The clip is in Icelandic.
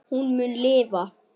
Hún mun lifa.